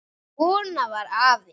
Svona var afi.